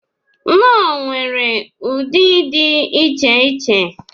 Knorr nwere ụdị dị iche iche.